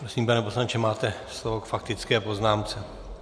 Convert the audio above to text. Prosím, pane poslanče, máte slovo k faktické poznámce.